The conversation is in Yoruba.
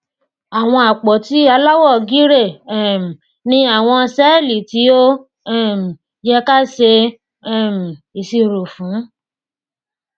àwọn àpótí aláwọ gírè um ni àwọn sẹẹlì tí ó um yẹ káa ṣe um ìṣirò fún